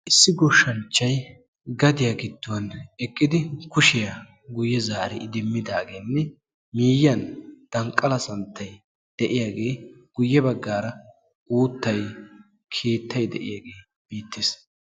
Issi goshshanchchay gadiya giddon eqqidi kushiyaa guyye zaari idimmidaageenne miyyiyan danqqala santtayi de'iyagee guyye baggaara uuttay, keettay de'iyagee beettees.